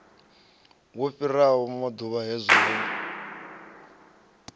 wo fhisaho ranḓavhula hedzi wo